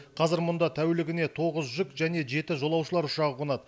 қазір мұнда тәулігіне тоғыз жүк және жеті жолаушылар ұшағы қонады